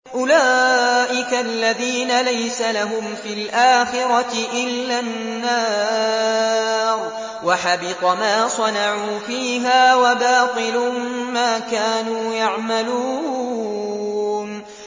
أُولَٰئِكَ الَّذِينَ لَيْسَ لَهُمْ فِي الْآخِرَةِ إِلَّا النَّارُ ۖ وَحَبِطَ مَا صَنَعُوا فِيهَا وَبَاطِلٌ مَّا كَانُوا يَعْمَلُونَ